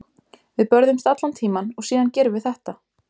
Við börðumst allan tímann og síðan gerum við þetta.